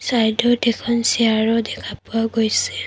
চাইডত এখন চেয়াৰো দেখা পোৱা গৈছে।